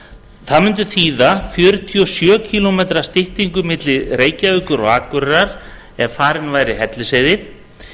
það mun þýða fjörutíu og sjö kílómetra styttingu milli reykjavíkur og akureyrar ef farin væri hellisheiði